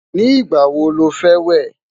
ní igbà wò ló fé wẹ?